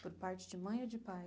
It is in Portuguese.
Por parte de mãe ou de pai?